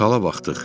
Sala baxdıq.